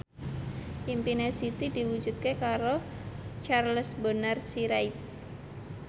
impine Siti diwujudke karo Charles Bonar Sirait